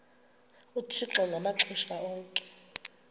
uthixo ngamaxesha onke